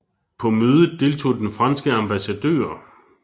På mødet deltog den franske ambassadør